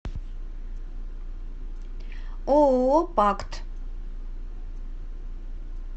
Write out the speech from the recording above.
ооо пакт